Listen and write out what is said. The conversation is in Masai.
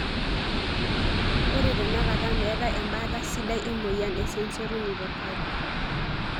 Ore tenakata metae embata sidai emoyian e sensory neuropathy.